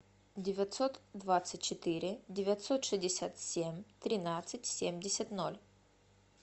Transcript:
девятьсот двадцать четыре девятьсот шестьдесят семь тринадцать семьдесят ноль